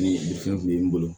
Ni fɛn kun bɛ n bolo